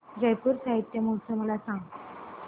जयपुर साहित्य महोत्सव मला सांग